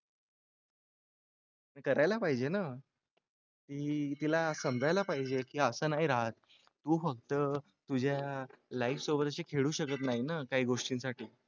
करायला पाहिजे ना की तिला समजायला पाहिजे की असं नाही राहत तू फक्त तुझ्या life सोबत अशी खेळू शकत नाही ना काही गोष्टींसाठी.